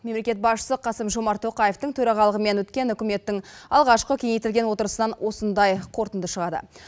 мемлекет басшысы қасым жомарт тоқаевтың төрағалығымен өткен үкіметтің алғашқы кеңейтілген отырысынан осындай қорытынды шығады